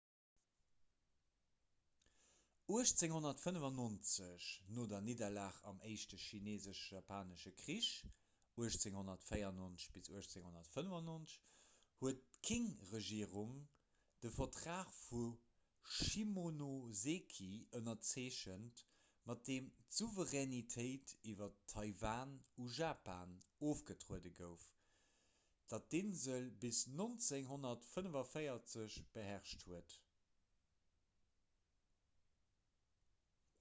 1895 no der nidderlag am éischte chineesesch-japanesche krich 1894 – 1895 huet d'qing-regierung de vertrag vu shimonoseki ënnerzeechent mat deem d'souveränitéit iwwer taiwan u japan ofgetrueden gouf dat d'insel bis 1945 beherrscht huet